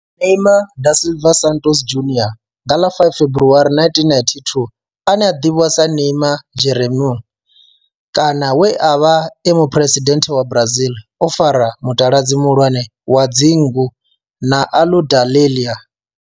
Neymar da Silva Santos Junior nga ḽa 5 February 1992, ane a ḓivhiwa sa Neymar Jeromme kana we a vha e muphuresidennde wa Brazil o fara mutaladzi muhulwane wa dzingu na Aludalelia.